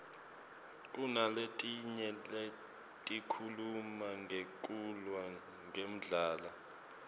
kunaletinye letikhuluma ngekulwa ngendlala